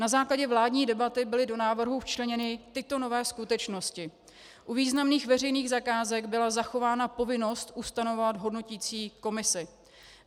Na základě vládní debaty byly do návrhu včleněny tyto nové skutečnosti: U významných veřejných zakázek byla zachována povinnost ustanovovat hodnoticí komisi.